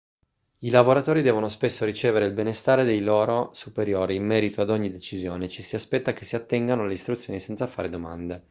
i lavoratori devono spesso ricevere il benestare dei loro superiori in merito ad ogni decisione e ci si aspetta che si attengano alle istruzioni senza fare domande